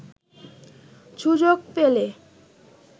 সুযোগ পেলে